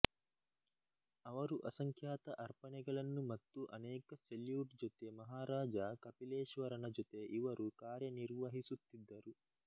ಅವರು ಅಸಂಖ್ಯಾತ ಅರ್ಪಣೆಗಳನ್ನು ಮತ್ತು ಅನೇಕ ಸೆಲ್ಯೂಟ್ ಜೊತೆ ಮಹಾರಾಜ ಕಪಿಲೇಶ್ವರನ ಜೊತೆ ಇವರು ಕಾರ್ಯನಿರ್ವಹಿಸುತ್ತಿದ್ದರು